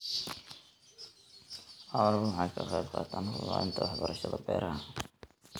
Xooluhu waxay ka qayb qaataan horumarinta waxbarashada beeraha.